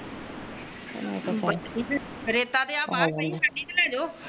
ਰੇਤਾ ਤਾ ਬਾਰ ਪਾਈ ਕਦੀ ਤੋਂ ਲਾਲੋ